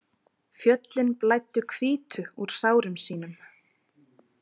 Fjöllin blæddu hvítu úr sárum sínum.